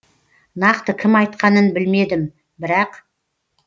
нақты кім айтқанын білмедім бірақ